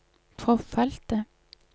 forfalte